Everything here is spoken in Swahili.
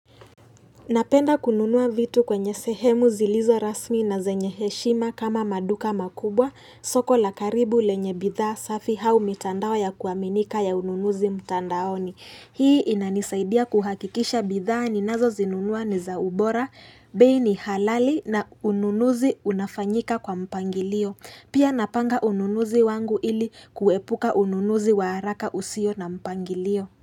Napenda kununua vitu kwenye sehemu zilizo rasmi na zenye heshima kama maduka makubwa, soko la karibu lenye bidhaa safi au mitandao ya kuaminika ya ununuzi mtandaoni. Hii inanisaidia kuhakikisha bidhaa ninazozinunua ni za ubora, bei ni halali na ununuzi unafanyika kwa mpangilio. Pia napanga ununuzi wangu ili kuepuka ununuzi wa haraka usio na mpangilio.